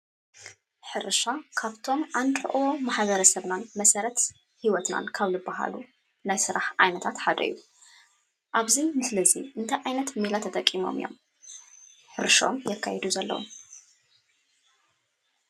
ሕርሻ ካብቶም ዓንዲ ሑቐ ማሕበረ ሰብናን መሰረት ሂወትናን ካብ ልባሃሉ ናይ ስራሕ ዓይነታት ሓደ እዩ፡፡ ኣብዚ ምስሊ እዚ እንታይ ዓይነት ሜላ ተጠቂሞም እዮም ሕርሸኦም ዘካይዱ ዘለዉ?